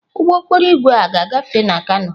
Ụgbọ okporo ígwè a ga-agafe na kano.